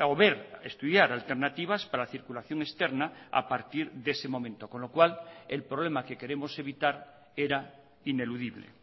o ver estudiar alternativas para la circulación externa a partir de ese momento con lo cual el problema que queremos evitar era ineludible